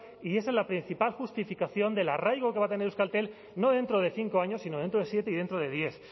y esa es la principal justificación del arraigo que va a tener euskaltel no dentro de cinco años sino dentro del siete y dentro de diez